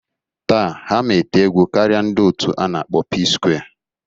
Taa, ha ma ete egwu karịa ndị otu a na-akpọ Pskware